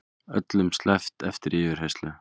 Öllum sleppt eftir yfirheyrslu